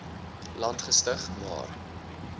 land gestig maar